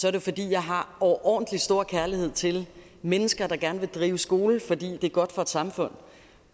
er det fordi jeg har overordentlig stor kærlighed til mennesker der gerne vil drive skole fordi det er godt for et samfund